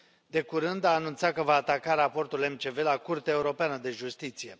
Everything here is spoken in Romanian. De curând a anunțat că va ataca raportul MCV la Curtea Europeană de Justiție.